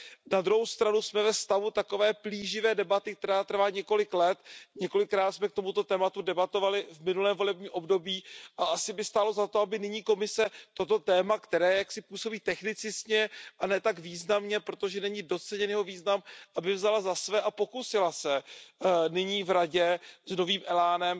Na druhou stranu jsme ve stavu takové plíživé debaty, která trvá několik let. Několikrát jsme k tomuto tématu debatovali v minulém volebním období a asi by stálo za to, aby nyní Komise toto téma, které působí více technicky a ne tak významně, protože není doceněn jeho význam, vzala za své a pokusila se nyní v Radě s novým elánem